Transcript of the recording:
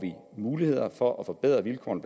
muligheder for at forbedre vilkårene